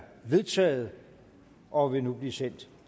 vedtaget og vil nu blive sendt